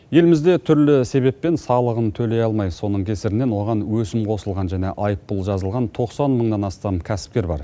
елімізде түрлі себеппен салығын төле алмай соның кесірінен оған өсім қосылған және айыппұл жазылған тоқсан мыңнан астам кәсіпкер бар